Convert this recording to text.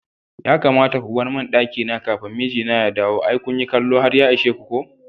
Ya kamata ko barmin ɗakina kafin mijina ya dawo, ai kunyi kallo har ya ishe ko.